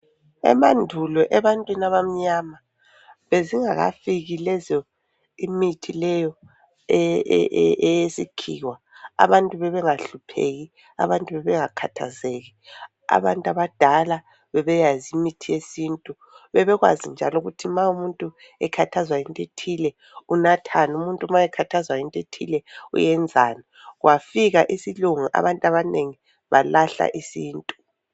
Emandulo ebantwini abamnyama bezingakafiki lezo imithi leyi eyesikhiwa abantu bebengahlupheki abantu bebengakhathazeki abantu abadala bebeyazi imithi yesintu bebekwazi njalo ukuthi ma umuntu ekhathazwa yinto ethile unathani umuntu ma ekhathazwa yinto ethile uyenzani kwafikwa isilungu abantu abanengi balahla isintu